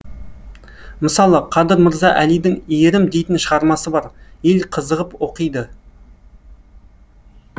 мысалы қадыр мырза әлидің иірім дейтін шығармасы бар ел қызығып оқиды